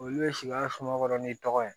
Olu bɛ sigi an ka sumankɔrɔ n'i tɔgɔ ye